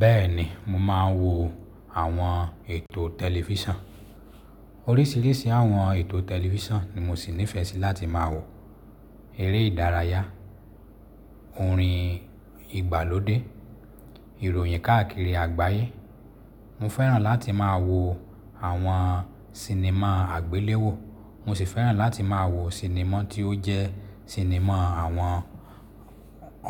Bẹ́ẹ̀ni mo máa ń wo àwọn ètò tẹlifísàn. Oríṣìíríṣìí àwọn ètò tẹlifísàn ni mo sì nífẹẹ sí láti máa wò. Eré ìdárayá, orin ìgbàlódé, ìròyìn káàkiri àgbáyé. Mo fẹ́ràn láti máa wo àwọn sinimá àgbéléwò. Mo sì fẹ́ràn láti máa wo sinimá tí ó jẹ́ sinimá àwọn